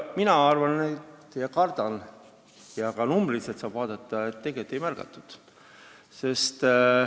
Mina arvan ja kardan ja ka numbriliselt saab seda tõestada, et tegelikult ei märganud.